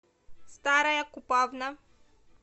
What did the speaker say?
старая купавна